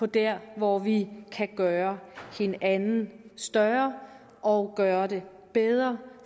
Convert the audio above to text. der hvor vi kan gøre hinanden større og gøre det bedre